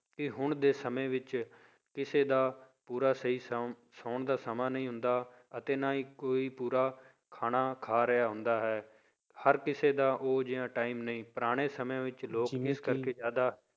ਕਿ ਹੁਣ ਦੇ ਸਮੇਂ ਵਿੱਚ ਕਿਸੇ ਦਾ ਪੂਰਾ ਸਹੀ ਸੌਣ ਸੌਣ ਦਾ ਸਮਾਂ ਨਹੀਂ ਹੁੰਦਾ ਅਤੇ ਨਾ ਹੀ ਕੋਈ ਪੂਰਾ ਖਾਣਾ ਖਾ ਰਿਹਾ ਹੁੰਦਾ ਹੈ, ਹਰ ਕਿਸੇ ਦਾ ਉਹ ਜਿਹਾ time ਨਹੀਂ, ਪੁਰਾਣੇ ਸਮਿਆਂ ਵਿੱਚ ਲੋਕ ਇਸ ਕਰਕੇ ਜ਼ਿਆਦਾ